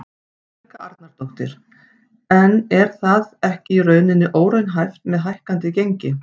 Helga Arnardóttir: En er það ekki í rauninni óraunhæft með hækkandi gengi?